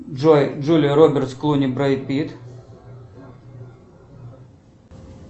джой джулия робертс клуни брэд питт